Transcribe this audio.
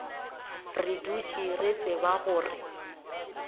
re dutše re tseba gore